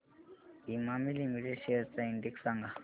Emami limited shares चा index सांगा